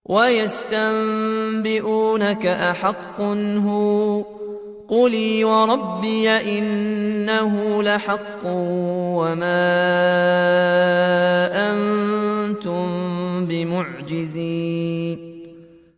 ۞ وَيَسْتَنبِئُونَكَ أَحَقٌّ هُوَ ۖ قُلْ إِي وَرَبِّي إِنَّهُ لَحَقٌّ ۖ وَمَا أَنتُم بِمُعْجِزِينَ